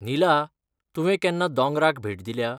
नीला, तुवें केन्ना दोंगराक भेट दिल्या?